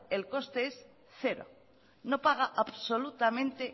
el conste es cero no paga absolutamente